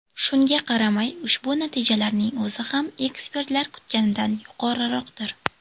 Shunga qaramay, ushbu natijalarning o‘zi ham ekspertlar kutganidan yuqoriroqdir.